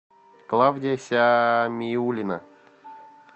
клавдия сямиулина